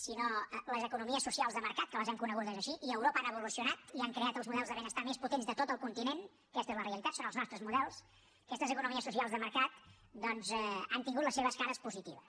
sinó les economies socials de mercat que les hem conegudes així i a europa han evolucionat i han creat els models de benestar més potents de tot el continent aquesta és la realitat són els nostres models aquestes economies socials de mercat doncs han tingut les seves cares positives